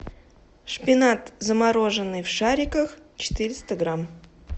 шпинат замороженный в шариках четыреста грамм